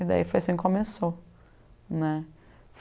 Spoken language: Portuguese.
E daí foi assim que começou né.